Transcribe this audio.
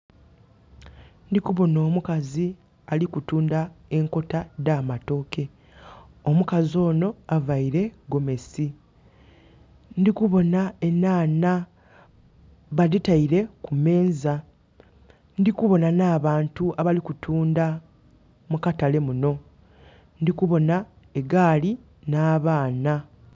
Ndhi kubonha omukazi ali kutundha enkota dh'amatooke, omukazi onho avaire gomesi. Ndhi kuboonha enhanha, badhitaile ku meeza. Ndhi kubonha na bantu abali kutuundha mu katale munho. Ndhi kubonha egaali na baana.